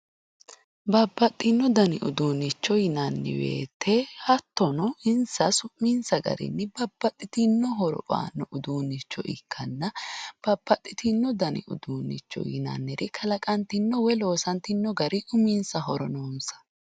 Babbaxino danni uduunicho yinnanni woyte hattono insa su'minsa garinni babbaxitino horo aano uduunicho ikkanna babbaxitino danni uduunicho yinnanni kalaqantino woyi loossatino gari uminsahu noonsa.